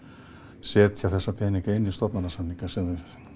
setja þessa peninga inn í stofnanasaminga sem við